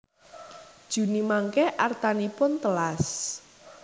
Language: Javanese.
Juni mangke artanipun telas?